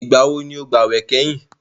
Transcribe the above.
Ìgbà wo ni o gbàwè kẹ́yìn?